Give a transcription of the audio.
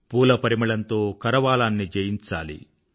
పూల పరిమళంతో కరవాలాన్ని జయించాలి